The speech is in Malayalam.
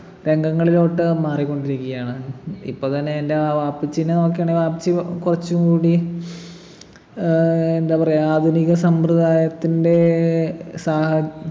രംഗങ്ങളിലോട്ട് മാറികൊണ്ടിരിക്കുകയാണ് ഇപ്പൊ തന്നെ എൻ്റെ വാപ്പച്ചിനെ നോക്കണെങ്കി വാപ്പച്ചി കുറച്ചും കൂടി ഏർ എന്താ പറയാ ആധുനിക സമ്പ്രദായത്തിൻ്റെ സാഹ